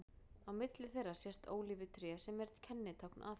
Á milli þeirra sést ólífutré sem er kennitákn Aþenu.